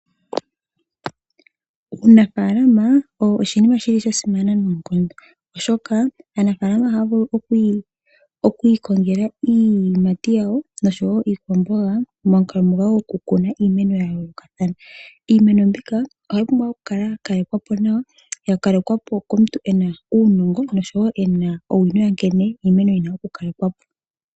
Uunafalama owa simana noonkondo oshoka aanafalama ohaya vulu okwi ikongela iiyimati yawo noshowo iipumbiwa momukalo momukalo gwoku kuna iimenoya yoolokothana. Iimeno mbinonohayi pumbwa oku kalekwapo nawa komuntu ngoka ena uunongo wa nkene yina oku kalekwapo.